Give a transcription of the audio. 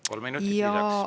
Kolm minutit lisaks.